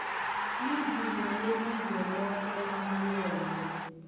liziko lelizweloke lamalwelwe